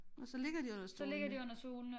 Og så ligger de under stolene